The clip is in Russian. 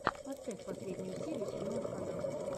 поставь последнюю серию седьмого канала